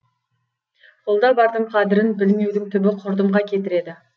қолда бардың қадірін білмеудің түбі құрдымға кетіреді